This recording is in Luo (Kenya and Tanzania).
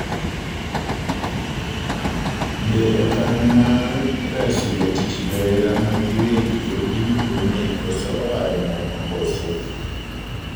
Be okang' mar reso ratich johera magiwegi epiny Brunei koso oae nono koso?